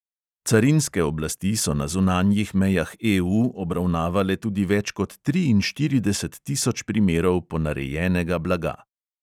Carinske oblasti so na zunanjih mejah EU obravnavale tudi več kot triinštirideset tisoč primerov ponarejenega blaga.